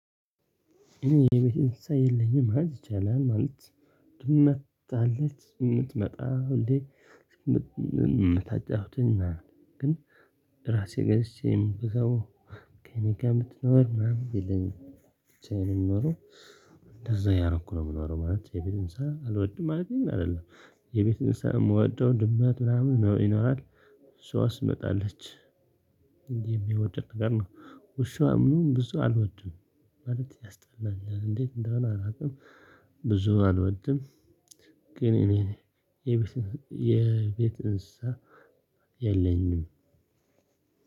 የቤት እንስሳ የለኝም ማለት ይቻላል ማለት ድመት አለች የምትመጣ ሁሌ የምታጫዉተኝ ግን ራሴ ገዝቼም ብዙ ከእኔ ጋር የምትኖር ምናምን የለኝም ብቻዬን ነው። የምኖረው እንደዛ ያረኩ ነው የምኖረው ማለት የቤት እንስሳ አልወድም። ማለቴ ግን አይደለም። የቤት እንስሳ የምወደው ድመት ምናምን ነው ይኖራል እሷ ትመጣለች። እንዲህ የሚወደድ ነገር ነው። ውሻ ምናምን ብዙ አልወድም ማለት ያስጠላኛል እንዴት እንደሆነ አላውቅም። ብዙም አልወድም። ግን እኔ የቤት የቤት እንስሳ የለኝም።